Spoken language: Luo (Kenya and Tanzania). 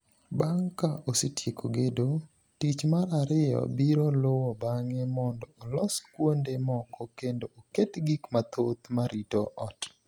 Bang’ ka osetieko gedo, tich mar ariyo biro luwo bang’e mondo olos kuonde moko kendo oket gik mathoth ma rito ot.